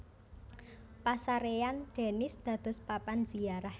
Pasarèyan Denis dados papan ziarah